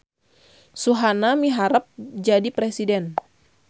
Suhana miharep jadi presiden